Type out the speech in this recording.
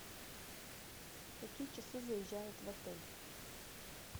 в какие часы заезжают в отель